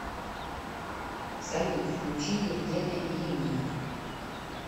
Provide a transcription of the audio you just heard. салют включи евгена иримию